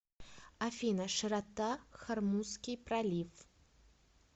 афина широта хормузский пролив